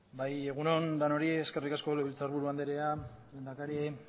egun on denoi eskerrik asko legebiltzarburu anderea lehendakari